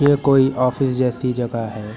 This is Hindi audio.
ये कोई ऑफिस जैसी जगह है।